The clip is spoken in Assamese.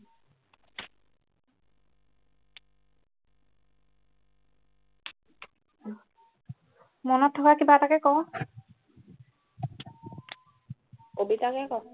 মনত থকা কিবা এটাকে ক কবিতাকে ক